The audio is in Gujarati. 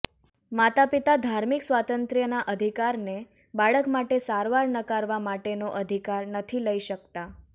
માતાપિતા ધાર્મિક સ્વાતંત્ર્યના અધિકારને બાળક માટે સારવાર નકારવા માટેનો અધિકાર નથી લઈ શકતા